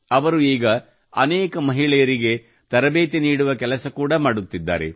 ಅವರು ಈಗ ಅನೇಕ ಮಹಿಳೆಯರಿಗೆ ತರಬೇತಿ ನೀಡುವ ಕೆಲಸ ಕೂಡಾ ಮಾಡುತ್ತಿದ್ದಾರೆ